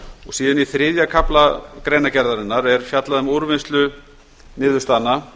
og síðan í þriðja kafla greinargerðarinnar er fjallað um úrvinnslu niðurstaðna